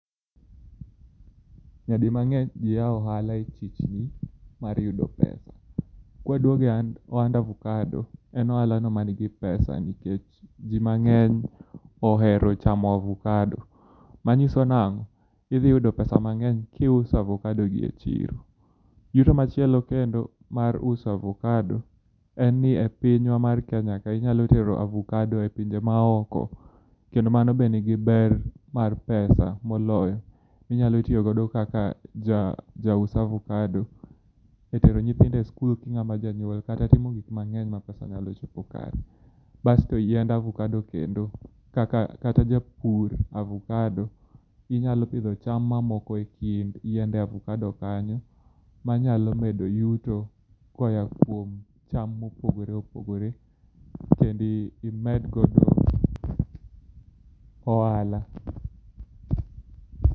Nyadi mang'eny ji yao ohala e chichni mar yudo pesa. Kwaduoge hand ohand avokado, en ohalano manigi pesa nikech jii mang'eny ohero chamo avokado. Manyiso nang'o? Idhi yudo pesa mang'eny kiuso avokadogi e chiro. Yuto machielo kendo mar uso avokado enni e pinywa mar Kenya ka inyalo tero avokado e pinje maoko, kendo mano be nigi ber mar pesa moloyo. Inyalo tiogodo kaka ja jaus avokado e tero nyithindo e skul king'ama janyuol kata timo gik mang'eny ma pesa nyalo chopo kare. Basto yiend avokado kendo kaka kata japur avokado, inyalo pidho cham mamoko e kind yiende avokado kanyo manyalo medo yuto koya kuom cham mopogore opogore kendi medgodo ohala.